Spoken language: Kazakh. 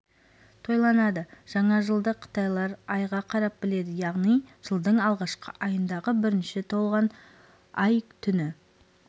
тойланады жаңа жылды қытайлар айға қарап біледі яғни жылдың алғашқы айындағы бірінші толған ай түні